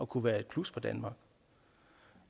kunne være et plus for danmark